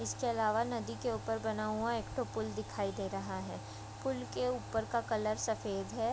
इसके अलावा नदी के ऊपर बना हुआ एकठो पुल दिखाई दे रहा है। पुल के ऊपर का कलर सफ़ेद है।